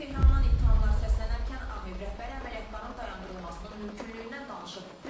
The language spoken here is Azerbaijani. Tehrandan ittihamlar səslənərkən ABŞ rəhbəri əməliyyatların dayandırılmasının mümkünlüyündən danışıb.